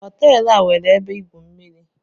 Hotel a nwere ebe igwu mmiri